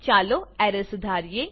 ચાલો એરર સુધારીએ